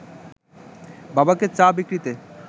বাবাকে চা বিক্রিতে